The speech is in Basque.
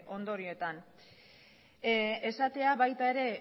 ondorioetan esatea baita ere